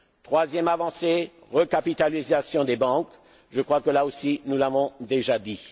Troisième avancée recapitalisation des banques. Je crois que là aussi, nous l'avons déjà